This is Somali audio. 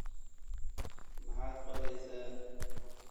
Maxaad qoraysaa?